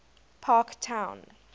parktown